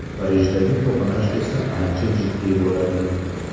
Parijdagi to‘qnash esa ancha jiddiy bo‘ladi.